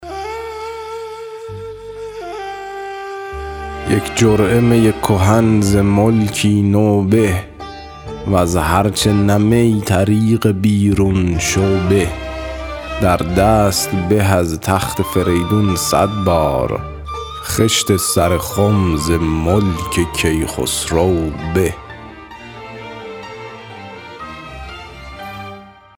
یک جرعه می کهن ز ملکی نو به وز هر چه نه می طریق بیرون شو به در دست به از تخت فریدون صد بار خشت سر خم ز ملک کیخسرو به